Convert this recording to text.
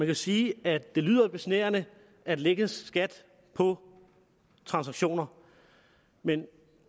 kan sige at det lyder besnærende at lægge skat på transaktioner men